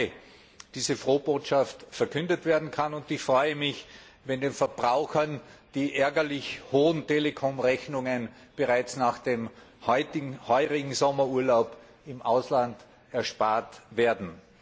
9. Mai, diese Frohbotschaft verkündet werden kann, und ich freue mich, wenn den Verbrauchen die ärgerlich hohen Telekomrechnungen bereits nach dem heurigen Sommerurlaub im Ausland erspart werden.